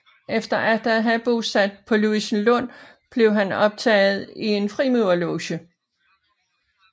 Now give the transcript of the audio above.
Efter atter af have bosat sig på Louisenlund blev han optaget i en frimurerloge